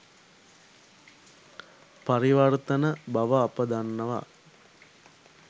පරිවර්තන බව අප දන්නවා.